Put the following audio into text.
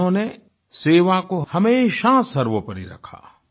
उन्होंने सेवा को हमेशा सर्वोपरि रखा